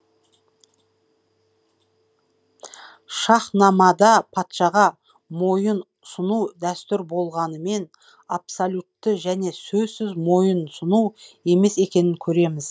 шахнамада патшаға мойынсұну дәстүр болғанымен абсолютті және сөзсіз мойынсұну емес екенін көреміз